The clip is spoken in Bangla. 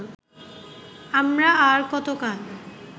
আমরা আর কতকাল